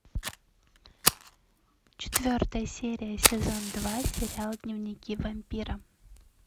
четвертая серия сезон два сериал дневники вампира